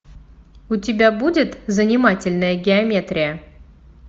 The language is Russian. у тебя будет занимательная геометрия